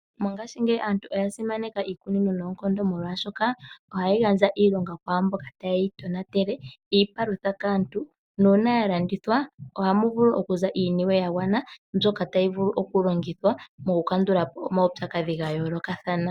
Mongashingeyi aantunoya simaneka iikunino noonkondo molwashoka ohayi gandja iilonga kwaamboka taye yi tonatele, iipalutha kaantu, nuuna ya landithwa ohamu vulu okuza iiniwe ya gwana mbyoka tayi vulu okulongithwa mokukandulapo omaupyakadhi ga yoolokathana.